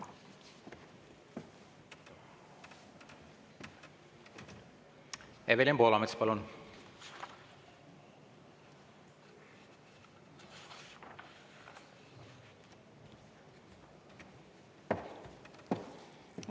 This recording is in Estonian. Evelin Poolamets, palun!